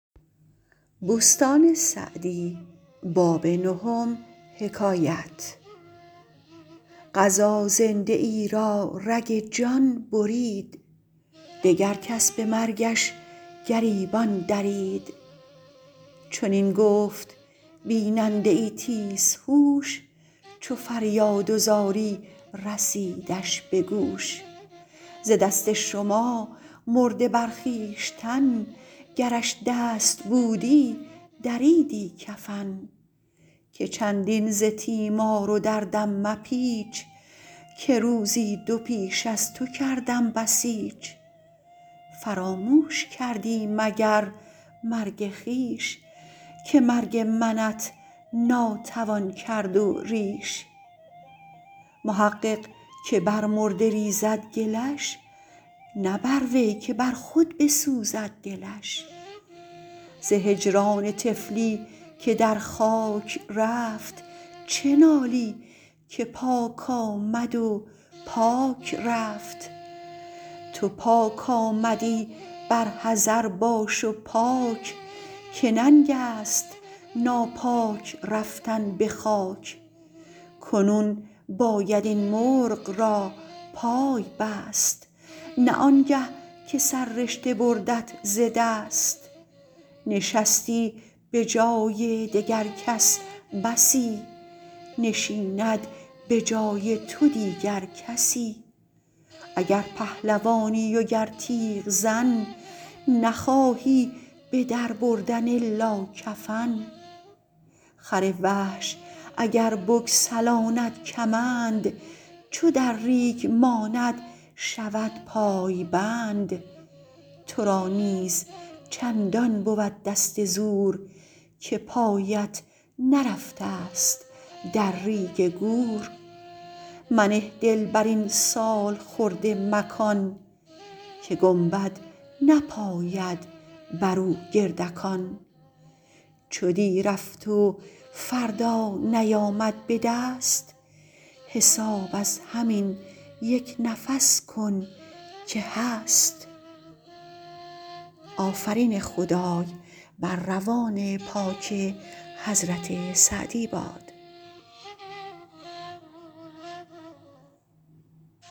قضا زنده ای را رگ جان برید دگر کس به مرگش گریبان درید چنین گفت بیننده ای تیز هوش چو فریاد و زاری رسیدش به گوش ز دست شما مرده بر خویشتن گرش دست بودی دریدی کفن که چندین ز تیمار و دردم مپیچ که روزی دو پیش از تو کردم بسیچ فراموش کردی مگر مرگ خویش که مرگ منت ناتوان کرد و ریش محقق که بر مرده ریزد گلش نه بر وی که بر خود بسوزد دلش ز هجران طفلی که در خاک رفت چه نالی که پاک آمد و پاک رفت تو پاک آمدی بر حذر باش و پاک که ننگ است ناپاک رفتن به خاک کنون باید این مرغ را پای بست نه آنگه که سررشته بردت ز دست نشستی به جای دگر کس بسی نشیند به جای تو دیگر کسی اگر پهلوانی و گر تیغزن نخواهی به در بردن الا کفن خر وحش اگر بگسلاند کمند چو در ریگ ماند شود پای بند تو را نیز چندان بود دست زور که پایت نرفته ست در ریگ گور منه دل بر این سالخورده مکان که گنبد نپاید بر او گردکان چو دی رفت و فردا نیامد به دست حساب از همین یک نفس کن که هست